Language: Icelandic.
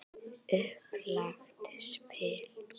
Upplagt spil.